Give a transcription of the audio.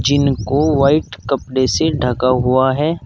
जिनको व्हाइट कपड़े से ढका हुआ है।